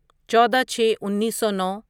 چودہ چھے انیسو نو